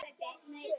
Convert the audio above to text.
Augað sæinn ber.